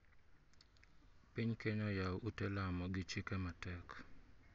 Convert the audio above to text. Piny Kneya oyawo ute lamo gi chike matek.